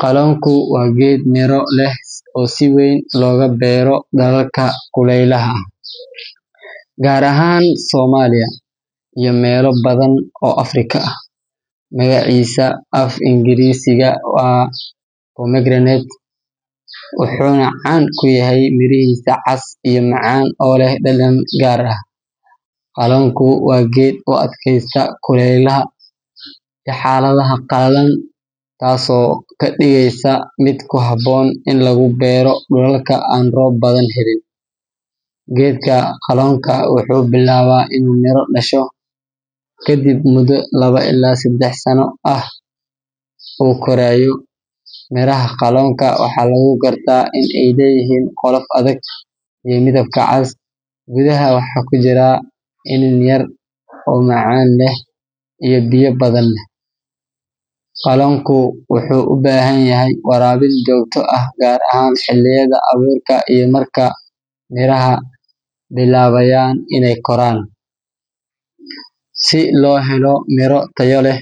Qalonku waa geed miro leh oo si weyn looga beero dalalka kuleylaha ah, gaar ahaan Soomaaliya iyo meelo badan oo Afrika ah. Magaciisa af-Ingiriisiga waa pomegranate, wuxuuna caan ku yahay mirihiisa cas iyo macaan oo leh dhadhan gaar ah. Qalonku waa geed u adkaysta kulaylka iyo xaaladaha qalalan, taas oo ka dhigaysa mid ku habboon in lagu beero dhulalka aan roob badan helin. Geedka qalonka wuxuu bilaabaa inuu miro dhasho kadib muddo laba ilaa saddex sano ah oo uu korayo. Miraha qalonka waxaa lagu gartaa in ay leeyihiin qolof adag oo midabka cas, gudaha waxa ku jira iniin yar yar oo macaan leh oo biyo badan leh. Qalonku wuxuu u baahan yahay waraabin joogto ah gaar ahaan xilliyada abuurka iyo marka miraha bilaabayaan inay koraan. Si loo helo miro tayo leh,